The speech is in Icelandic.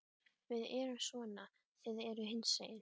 Við erum svona, þið eruð hinsegin.